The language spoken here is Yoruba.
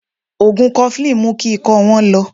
Ògùn Kọfilínì mú kí ikọ́ wọ́n lọ